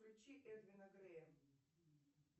включи эдвина грэя